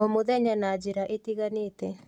O mũthenya na njĩra itiganĩte